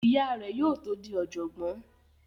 Ìyá rẹ̀ yóò tó di ọ̀jọ̀gbọ́n